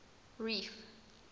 reef